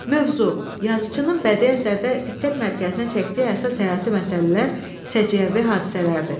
Mövzu, yazıçının bədii əsərdə diqqət mərkəzinə çəkdiyi əsas həyati məsələlər, səciyyəvi hadisələrdir.